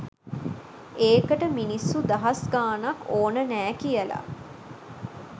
ඒකට මිනිස්සු දහස් ගාණක් ඕන නෑ කියල?